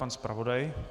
Pan zpravodaj.